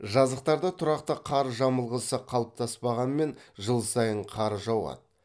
жазықтарда тұрақты қар жамылғысы қалыптаспағанмен жыл сайын қар жауады